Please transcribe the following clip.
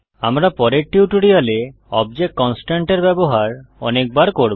আমরা পরের টিউটোরিয়ালে অবজেক্ট কনস্ট্রেইন্টস এর ব্যবহার অনেক বার করব